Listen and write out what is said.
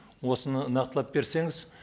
осыны нақтылап берсеңіз